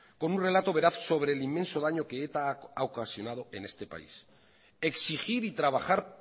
como un relato veraz sobre el inmenso daño que eta ha ocasionado en este país exigir y trabajar